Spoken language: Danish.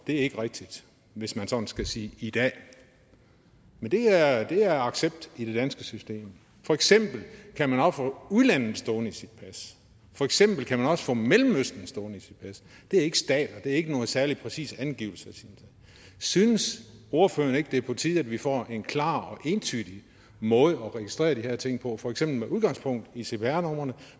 det ikke er rigtigt hvis man sådan skal sige i dag men det er det er accepteret i det danske system for eksempel kan man også få udlandet stående i sit pas for eksempel kan man også få mellemøsten stående i sit pas det er ikke stater og det er ikke nogle særlig præcise angivelser synes ordføreren ikke at det på tide at vi får en klar og entydig måde at registrere de her ting på for eksempel med udgangspunkt i cpr numrene